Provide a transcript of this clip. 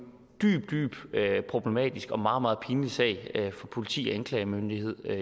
dybt dybt problematisk og meget meget pinlig sag for politiet og anklagemyndigheden og